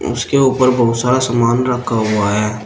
उसके ऊपर बहुत सारा सामान रखा हुआ है।